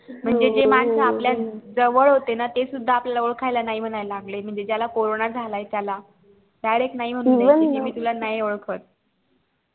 म्हणजे जे मानस आपल्या जवळ होते ना ते सुद्धा आपल्यला ओळखायला नाही मनायला लागले म्हणजे ज्याला corona झालाय त्याला direct नाही मन्हू लागले